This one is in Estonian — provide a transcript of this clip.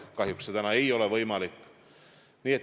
Kahjuks see täna ei ole võimalik.